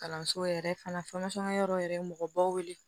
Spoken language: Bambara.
Kalanso yɛrɛ fana yɔrɔ yɛrɛ ye mɔgɔbaw wele